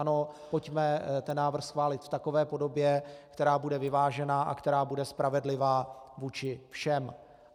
Ano, pojďme ten návrh schválit v takové podobě, která bude vyvážená a která bude spravedlivá vůči všem.